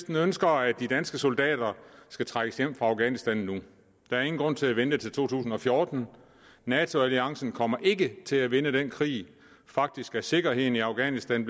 ønsker at de danske soldater skal trækkes hjem fra afghanistan nu der er ingen grund til at vente til to tusind og fjorten nato alliancen kommer ikke til at vinde den krig faktisk er sikkerheden i afghanistan